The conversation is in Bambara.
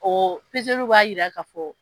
b'a yira ka fɔ.